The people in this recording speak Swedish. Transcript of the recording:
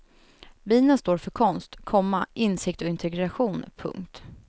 Bina står för konst, komma insikt och integration. punkt